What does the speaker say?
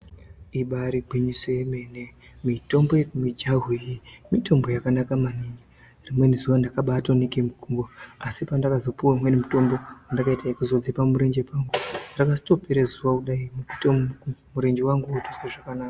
Ibayiri gwinyiso yemene mitombo yemujahu iyi mitombo yakanaka maningi rimweni zuva ndakatoibatwa ndeke mugumbo asi pandakazopiwa umweni mutombo ndakaita yekuzotodzipe murenje pangu rakazotopere zuva kudayi murenje wangu wotozwe zvakanaka.